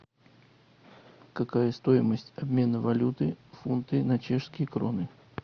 какая стоимость обмена валюты фунты на чешские кроны